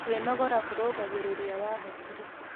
Kwĩnogora kũrũngagĩrĩrĩa wa hakĩrĩ